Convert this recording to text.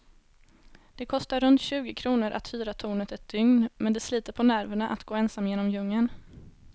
Det kostar runt tjugo kronor att hyra tornet ett dygn, men det sliter på nerverna att gå ensam genom djungeln.